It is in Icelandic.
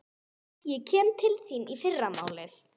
Ég kem til þín í fyrramálið.